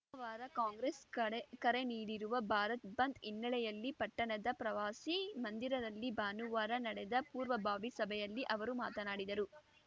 ಸೋಮವಾರ ಕಾಂಗ್ರೆಸ್‌ ಕಡೆ ಕರೆ ನೀಡಿರುವ ಭಾರತ್ ಬಂದ್‌ ಹಿನ್ನೆಲೆಯಲ್ಲಿ ಪಟ್ಟಣದ ಪ್ರವಾಸಿ ಮಂದಿರಲ್ಲಿ ಭಾನುವಾರ ನಡೆದ ಪೂರ್ವಭಾವಿ ಸಭೆಯಲ್ಲಿ ಅವರು ಮಾತನಾಡಿದರು